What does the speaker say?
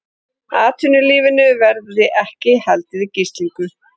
Atvinnulífinu verði ekki haldið í gíslingu